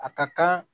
A ka kan